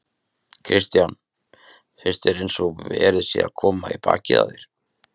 Kristján: Finnst þér eins og verið sé að koma í bakið á þér?